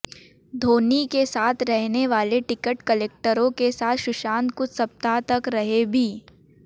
धोनी के साथ रहने वाले टिकट कलेक्टरों के साथ सुशांत कुछ सप्ताह तक रहे भी